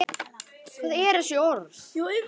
Þannig náum við lengra.